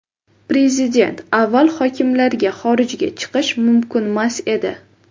Prezident: Avval hokimlarga xorijga chiqish mumkinmas edi.